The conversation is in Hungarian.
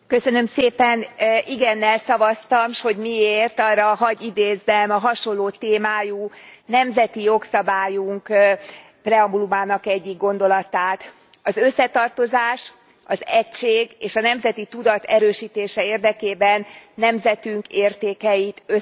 Igennel szavaztam, s hogy miért, arra hadd idézzem a hasonló témájú nemzeti jogszabályunk preambulumának egyik gondolatát az összetartozás, az egység és a nemzeti tudat erősítése érdekében nemzetünk értékeit össze kell gyűjteni.